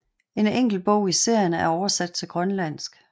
En enkelt bog i serien er oversat til grønlandsk